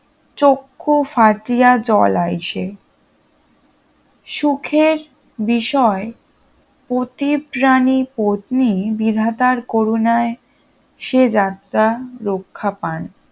চক্ষু ফাটিয়া জল আইসে সুখের বিষয় পতিপ্রানি পত্নি বিধাতার করুণায় সে যাত্রা রক্ষা পান